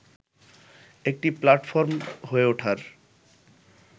একটি প্লাটফর্ম হয়ে ওঠার